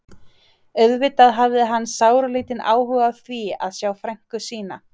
Auðvitað hafði hann sáralítinn áhuga á því að sjá frænku sína.